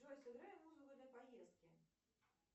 джой сыграй музыку для поездки